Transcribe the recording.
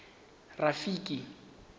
rafiki